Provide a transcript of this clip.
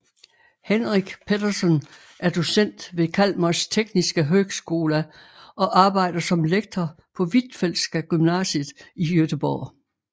Henrik Petersson er docent ved Chalmers tekniska högskola og arbejder som lektor på Hvitfeldtska Gymnasiet i Göteborg